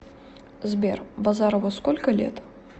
сбер базарову сколько лет